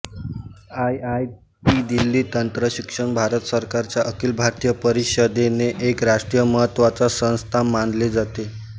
आयआयआयटीदिल्ली तंत्र शिक्षण भारत सरकारच्या अखिल भारतीय परिषदेने एक राष्ट्रीय महत्त्वाच्या संस्था मानले जाते